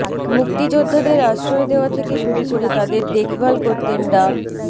মুক্তিযোদ্ধাদের আশ্রয় দেওয়া থেকে শুরু করে তাদের দেখভাল করতেন ডা